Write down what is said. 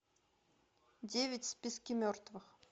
девять в списке мертвых